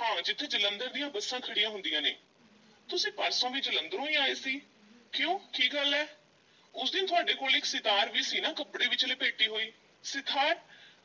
ਹਾਂ ਜਿੱਥੇ ਜਲੰਧਰ ਦੀਆਂ ਬੱਸਾਂ ਖੜ੍ਹੀਆਂ ਹੁੰਦੀਆਂ ਨੇ, ਤੁਸੀਂ ਪਰਸੋਂ ਵੀ ਜਲੰਧਰੋਂ ਹੀ ਆਏ ਸੀ? ਕਿਉਂ ਕੀ ਗੱਲ ਏ? ਉਸ ਦਿਨ ਤੁਹਾਡੇ ਕੋਲ ਇੱਕ ਸਿਤਾਰ ਵੀ ਸੀ ਨਾ ਕੱਪੜੇ ਵਿੱਚ ਲਪੇਟੀ ਹੋਈ, ਸਿਤਾਰ,